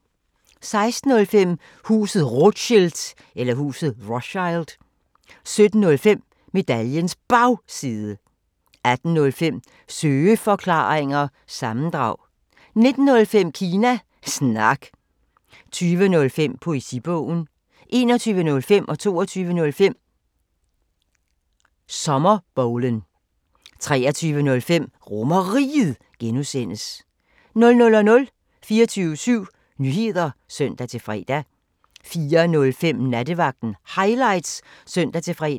16:05: Huset Rothschild 17:05: Medaljens Bagside 18:05: Søeforklaringer – sammendrag 19:05: Kina Snak 20:05: Poesibogen 21:05: Sommerbowlen 22:05: Sommerbowlen 23:05: RomerRiget (G) 00:00: 24syv Nyheder (søn-fre) 04:05: Nattevagten Highlights (søn-fre)